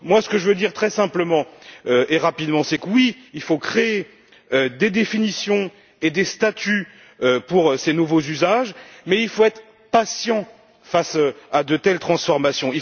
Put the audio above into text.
Ce que je veux dire, très simplement et rapidement, c'est que oui, il faut créer des définitions et des statuts pour ces nouveaux usages mais il faut être patient face à de telles transformations.